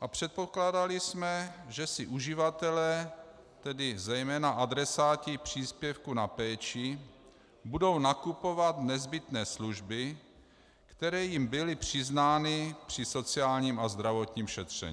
a předpokládali jsme, že si uživatelé, tedy zejména adresáti příspěvku na péči, budou nakupovat nezbytné služby, které jim byly přiznány při sociálním a zdravotním šetření.